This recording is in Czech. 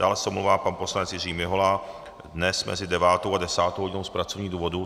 Dále se omlouvá pan poslanec Jiří Mihola dnes mezi 9. a 10. hodinou z pracovních důvodů.